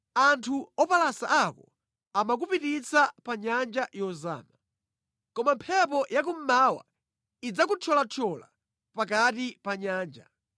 Anthu opalasa ako amakupititsa pa nyanja yozama. Koma mphepo yakummawa idzakuthyolathyola pakati pa nyanja.